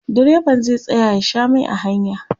direban zai tsaya ya Sha Mai a hanya